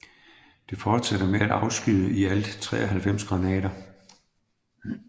Det fortsatte med at afskyde i alt 93 granater